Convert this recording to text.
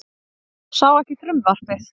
Sá ekki frumvarpið